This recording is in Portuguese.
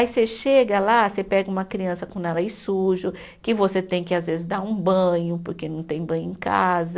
Aí você chega lá, você pega uma criança com nariz sujo, que você tem que, às vezes, dar um banho, porque não tem banho em casa.